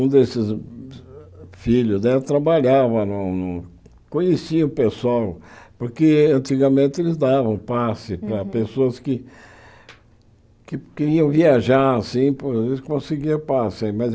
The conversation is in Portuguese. Um desses filhos né trabalhava no no, conhecia o pessoal, porque antigamente eles davam passe para pessoas que que queriam viajar assim, conseguiam passe.